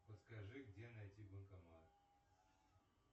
подскажи где найти банкомат